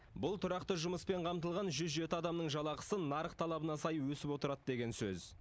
бұл тұрақты жұмыспен қамтылған жүз жеті адамның жалақысы нарық талабына сай өсіп отырады деген сөз